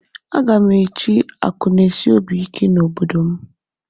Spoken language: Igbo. Aga m echi akụnaesiobiike na obodo m